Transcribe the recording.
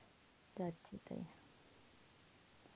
যাচ্ছেতাই.